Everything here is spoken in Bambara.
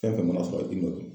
Fɛn fɛn mana sɔrɔ i m'o don.